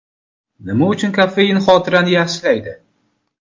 Nima uchun kofein xotirani yaxshilaydi?.